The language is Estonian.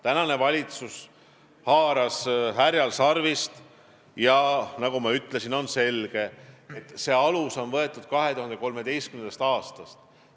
Praegune valitsus haaras härjal sarvist ja nagu ma ütlesin, on selge, et alus on võetud 2013. aastast.